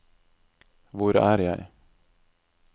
hvor er jeg